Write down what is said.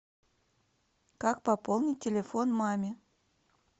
как пополнить телефон маме